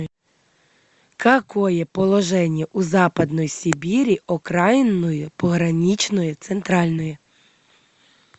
какое положение у западной сибири окраинное пограничное центральное